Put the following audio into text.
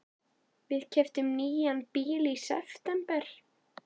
Við keyptum nýjan bíl í september.